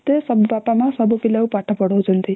ବାପା ମା ସବୁ ପିଲାଙ୍କୁ ପାଠ ପଢ଼ାଉଛନ୍ତି